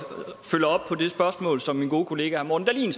på det spørgsmål som min gode kollega morten